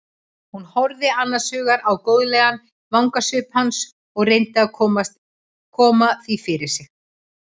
Hún horfði annars hugar á góðlegan vangasvip hans og reyndi að koma því fyrir sig.